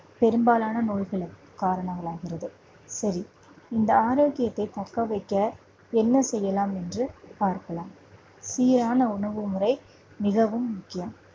பெரும்பாலான நோய்களுக்கு காரணங்களாகிறது சரி இந்த ஆரோக்கியத்தை தக்க வைக்க என்ன செய்யலாம் என்று பார்க்கலாம். சீரான உணவுமுறை மிகவும் முக்கியம்